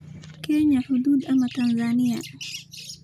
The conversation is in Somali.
Kenya xuduud ma Tanzania?